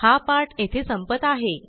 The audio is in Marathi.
हा पाठ येथे संपत आहे